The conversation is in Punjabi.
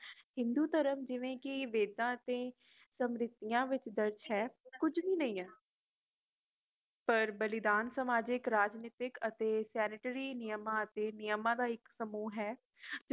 ਹਿੰਦੂ ਧਰਮ ਜਿਵੇਂ ਜੀ ਵੇਦਾ ਅਤੇ ਸਮ੍ਰਿਧੀਆ ਵਿੱਚ ਦਰਜ ਹੈ ਕੁਝ ਵੀ ਨਹੀਂ ਹੈ ਪਰ ਬਲੀਦਾਨ ਸਮਜਿਕ ਰਾਜਨਿਤਿਕ ਅਤੇ ਪਤ੍ਰੀ ਨੀਯਮ ਅਤੇ ਨਿਯਮਾਂ ਦਾ ਇਕ ਸਮੂਹ ਹੈ